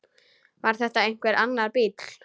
Var þetta einhver annar bíll?